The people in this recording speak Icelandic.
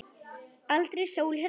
Er aldrei sól hérna, amma?